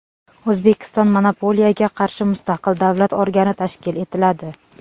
O‘zbekistonda monopoliyaga qarshi mustaqil davlat organi tashkil etiladi.